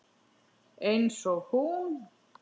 Einsog hún.